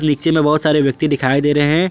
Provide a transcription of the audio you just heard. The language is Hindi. नीचे में बहोत सारे व्यक्ति दिखाई दे रहे हैं।